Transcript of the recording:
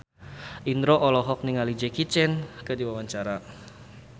Indro olohok ningali Jackie Chan keur diwawancara